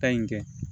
Ta in kɛ